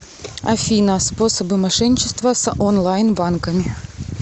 афина способы мошенничества с онлайн банками